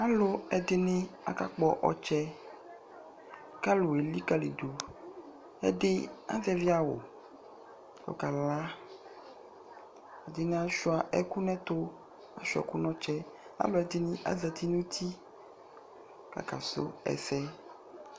alʋɛdini aka kpɔ ɔtsɛ kʋ alʋ ɛlikaliyi dʋ ɛdi azɛvi awʋ kʋ ɔkala, ɛdini asʋa ɛkʋ nʋ ɛtʋ asʋa ɛkʋ nʋ ɔtsɛ, alʋɛdini azati nʋ ʋti kʋ aka sʋ ɛsɛ